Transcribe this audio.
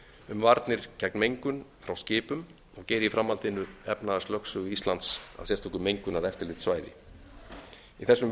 um varnir gegn mengun frá skipum og geri í framhaldinu efnahagslögsögu íslands að sérstöku mengunareftirlitssvæði í þessum